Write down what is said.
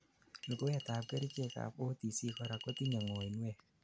luguwet ab kerichek ab OTC korak kotinyei ngoinwek